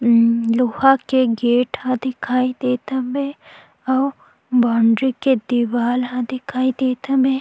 इ लोहा के गेट ह दिखाई देत हवे और बाउंड्री के दीवाल ह दिखाई देत हवे।